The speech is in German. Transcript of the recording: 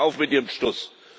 Hören Sie auf mit Ihrem Stuss!